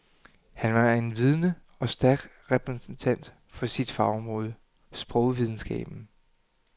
Han var en vidende og stærk repræsentant for sit fagområde, sprogvidenskaben.